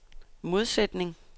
modsætning